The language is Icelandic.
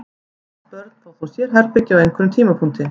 Flest börn fá þó sérherbergi á einhverjum tímapunkti.